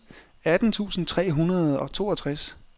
atten tusind tre hundrede og toogtres